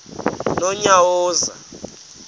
nonyawoza